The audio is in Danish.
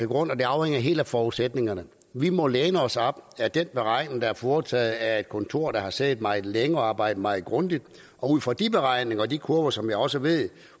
grund og det afhænger helt af forudsætningerne vi må læne os op ad den beregning der er foretaget af et kontor der har siddet meget længe og arbejdet meget grundigt ud fra de beregninger og de kurver som jeg også ved